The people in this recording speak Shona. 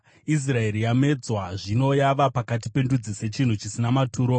Israeri yamedzwa; zvino yava pakati pendudzi sechinhu chisina maturo.